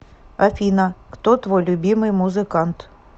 афина кто твой любимый музыкант